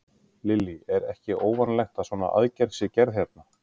Lillý: Er ekki óvanalegt að svona aðgerð sé gerð hérna?